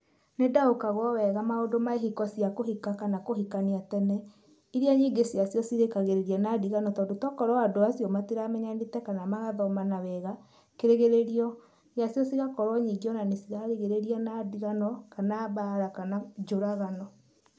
Nĩndaũkagwo wega maũndũ ma ihiko cia kũhika kana kũhikania tene, iria nyingĩ cia cio cirĩkagĩrĩria na ndigano tondũ to okorwo andũ acio matiramenyanĩte kana magathomana wega. Kĩrigĩrĩrio gĩa cio cĩgakorwo nyingĩ ona nĩ cirarigĩrĩria na ndigano, kana mbaara kana njũragano.